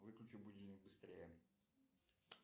выключи будильник быстрее